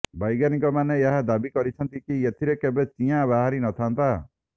ବୈଜ୍ଞାନିକମାନେ ଏହା ଦାବି କରିଛନ୍ତି କି ଏଥିରେ କେବେ ଚିଆଁ ବାହାରିନଥାନ୍ତି